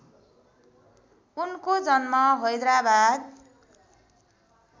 उनको जन्म हैदराबाद